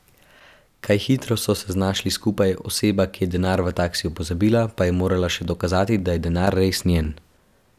Kaj hitro so se znašli skupaj, oseba, ki je denar v taksiju pozabila, pa je morala še dokazati, da je denar res njen.